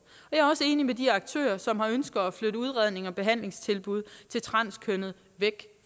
er også enig med de aktører som har ønsket at flytte udrednings og behandlingstilbud til transkønnede væk